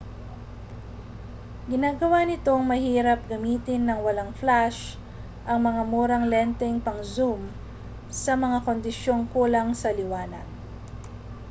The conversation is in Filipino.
ginagawa nitong mahirap gamitin nang walang flash ang mga murang lenteng pang-zoom sa mga kondisyong kulang sa liwanag